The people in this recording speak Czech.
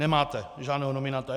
Nemáte žádného nominanta.